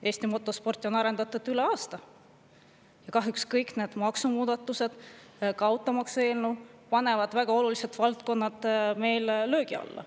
Eesti motosporti on arendatud aastaid, aga kahjuks kõik need maksumuudatused, ka automaksu eelnõu panevad väga olulised valdkonnad meil löögi alla.